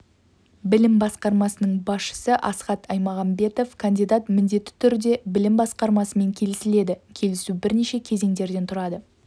білім басқармасының басшысы асхат аймағамбетов кандидат міндетті түрде білім басқармасымен келісіледі келісу бірнеше кезеңдерден тұрады